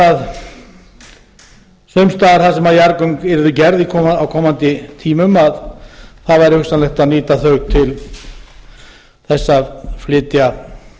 staðar þar sem jarðgöng yrðu gerð á komandi tímum að það væri hugsanlegt að nýta þau til þess að flytja